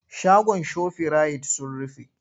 Shagon shofirayit sun rufe.